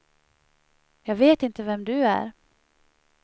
Jag vet inte vem du är.